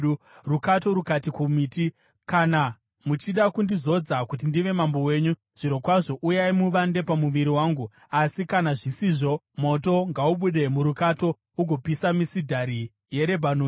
“Rukato rukati kumiti, ‘Kana muchida kundizodza kuti ndive mambo wenyu zvirokwazvo, uyai muvande pamumvuri wangu; asi kana zvisizvo, moto ngaubude murukato ugopisa misidhari yeRebhanoni!’